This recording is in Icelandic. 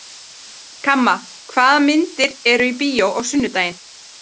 Kamma, hvaða myndir eru í bíó á sunnudaginn?